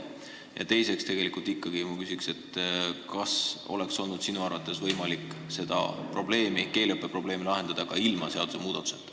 Ja teiseks ma ikkagi küsin, kas sinu arvates oleks olnud võimalik seda keeleõppe probleemi lahendada ka ilma seadusmuudatuseta.